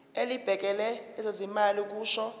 elibhekele ezezimali kusho